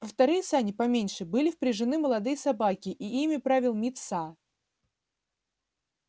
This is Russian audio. во вторые сани поменьше были впряжены молодые собаки и ими правил мит са